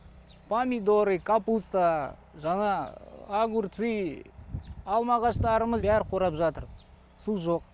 помидоры капуста жаңағы огурцы алма ағаштарымыз бәрі қурап жатыр су жоқ